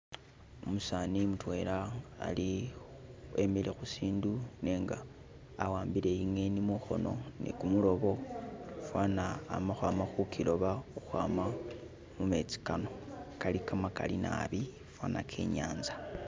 Umusani mutwela ali, wemile khusindu nenga awambile ingeni mukhono ne kumulobo fana amakwama khukiloba ukwama mumetsi kano, kali kamakali naabi fana ke inyanza.